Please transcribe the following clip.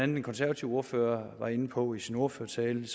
den konservative ordfører var inde på i sin ordførertale